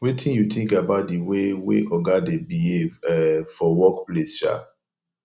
wetin you think about di way wey oga dey behave um for workplace um